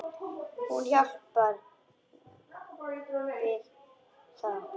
Hún hjálpar honum við það.